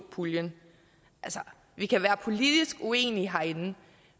puljen altså vi kan være politisk uenige herinde